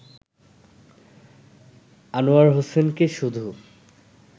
আনোয়ার হোসেনকে শুধু